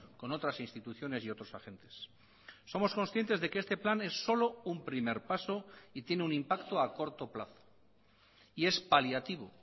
con otras instituciones y otros agentes somos conscientes de que este plan es solo un primer paso y tiene un impacto a corto plazo y es paliativo